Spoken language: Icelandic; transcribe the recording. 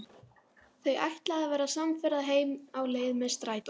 Þau ætla að verða samferða heim á leið með strætó.